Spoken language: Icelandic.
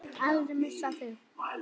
Ég vil aldrei missa þig.